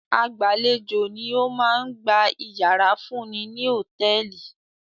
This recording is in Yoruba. Agbàlejò ni ó máa ń gba ìyàrá fún ni ní hòtẹ́ẹ́lì.